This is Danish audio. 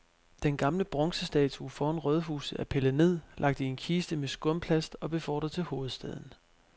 Den gamle bronzestatue foran rådhuset er pillet ned, lagt i en kiste med skumplast og befordret til hovedstaden.